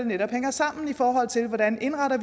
netop hænger sammen i forhold til hvordan vi indretter